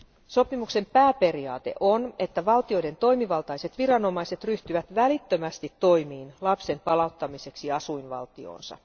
Sopimuksen pääperiaate on, että valtioiden toimivaltaiset viranomaiset ryhtyvät välittömästi toimiin lapsen palauttamiseksi asuinvaltioonsa.